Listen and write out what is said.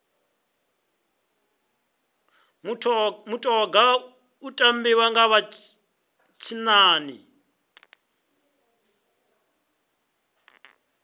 mutoga u tambiwa nga vha tshinnani